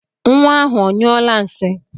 Nwa ahụ onyụọla nsị?